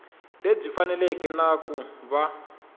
lebyi faneleke na ku va